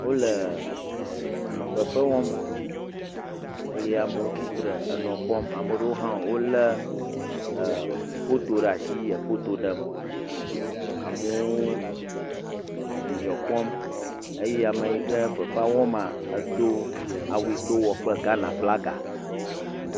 Wole fefewɔm eye amewo tsitre enɔ kpɔm ame ɖewo hã wolé foto ɖe asi le foto ɖem, amewo dzidzɔ kpɔm eye ame yi ke fefea wɔm la edo awu aɖe yi ke wowɔ kple Ghanaflaga.